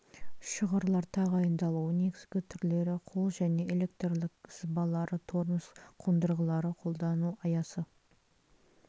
шығырлар тағайындалуы негізгі түрлері қол және электрлік сызбалары тормоз қондырғылары қолдану аясы